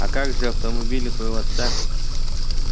а как же автомобиль твоего отца